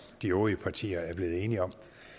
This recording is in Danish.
de øvrige partier er blevet enige om